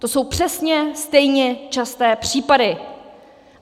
To jsou přesně stejně časté případy.